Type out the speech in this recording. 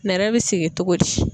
Nɛrɛ bɛ sigi cogo di?